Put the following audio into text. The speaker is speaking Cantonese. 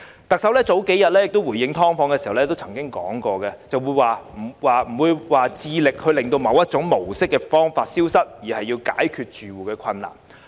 特首幾天前回應"劏房"問題時表示，她並非要致力令某一種居住模式消失，而是要解決住戶的困難。